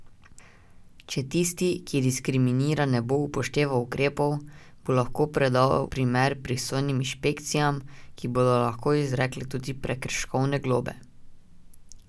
Če tisti, ki diskriminira, ne bo upošteval ukrepov, bo lahko predal primer pristojnim inšpekcijam, ki bodo lahko izrekle tudi prekrškovne globe.